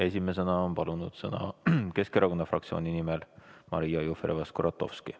Esimesena on palunud sõna Keskerakonna fraktsiooni nimel Maria Jufereva-Skuratovski.